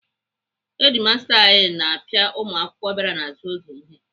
Hedimasta anyị na-apịa ụmụakwụkwọ bịara n'azụ oge ihe.